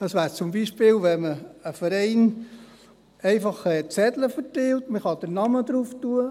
Das wäre zum Beispiel, wenn ein Verein einfach Zettel verteilt, auf die man den Namen schreiben kann.